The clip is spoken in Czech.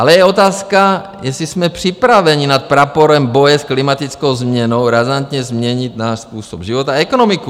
Ale je otázka, jestli jsme připraveni nad praporem boje s klimatickou změnou razantně změnit svůj způsob života a ekonomiku.